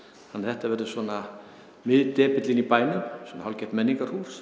þannig að þetta verður svona miðdepillinn í bænum hálfgert menningarhús